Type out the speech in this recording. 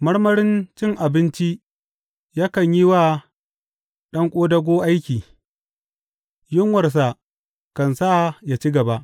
Marmarin cin abinci yakan yi wa ɗan ƙodago aiki; yunwarsa kan sa ya ci gaba.